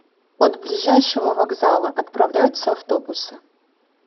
от ближайшего вокзала отправляются автобусы